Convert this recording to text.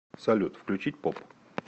салют включить поп